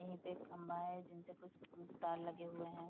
यही पे एक खम्भा है जिनसे कुछ तार लगे हुए है।